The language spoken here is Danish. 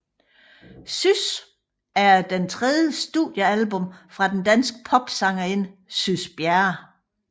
Sys er det tredje studiealbum fra den danske popsangerinde Sys Bjerre